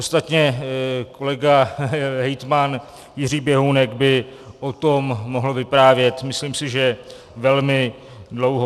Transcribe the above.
Ostatně kolega hejtman Jiří Běhounek by o tom mohl vyprávět, myslím si, že velmi dlouho.